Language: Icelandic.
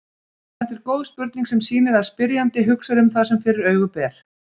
Þetta er góð spurning sem sýnir að spyrjandi hugsar um það sem fyrir augu ber.